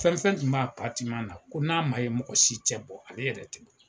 Fɛn fɛn tun b'a na ko n'a ma ye mɔgɔ si tɛ bɔ ale yɛrɛ tɛ bɔ.